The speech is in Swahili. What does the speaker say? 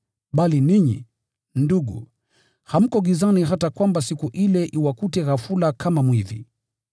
Bali ninyi, ndugu, hampo gizani hata siku ile iwakute ghafula kama mwizi.